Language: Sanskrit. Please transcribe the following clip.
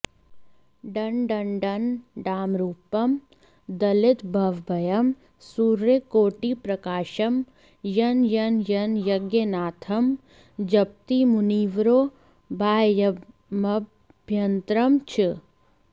डं डं डं डामरूपं दलितभवभयं सूर्यकोटिप्रकाशं यं यं यं यज्ञनाथं जपति मुनिवरो बाह्यमभ्यन्तरं च